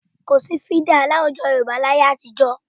Kò sí fídà láwùjọ Yorùbá láyé àtijọ́